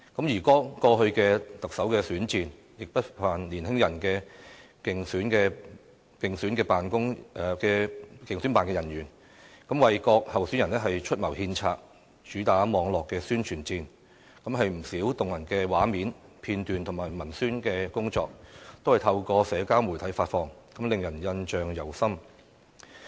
而剛過去的特首選戰，亦不乏年輕的競選辦人員，為各候選人出謀獻策，主打網絡宣傳戰，不少動人畫面、片段和文宣工作，均是透過社交媒體發放，令人印象猶深。